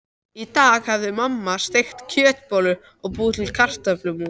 Í dag hafði mamma steikt kjötbollur og búið til kartöflumús.